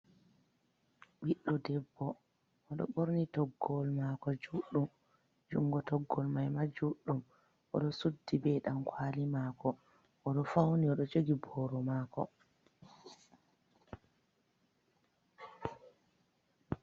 Ɓiɗdo debbo. Odo borni toggowol mako, juɗɗum jungo toggowol man ma juɗɗum. Oɗo suddi be dankwali mako. Odo fauni, Odo jogi boro mako.